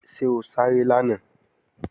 Ṣé o sáré lánàá?